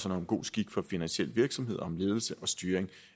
om god skik for finansiel virksomhed om ledelse og styring